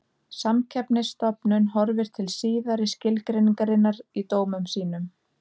Samkeppnisstofnun horfir til síðari skilgreiningarinnar í dómum sínum.